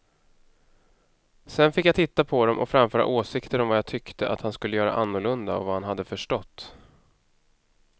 Sedan fick jag titta på dem och framföra åsikter om vad jag tyckte att han skulle göra annorlunda och vad han hade förstått.